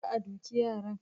kar a duke yaran